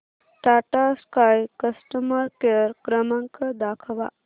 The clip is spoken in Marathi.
टाटा स्काय कस्टमर केअर क्रमांक दाखवा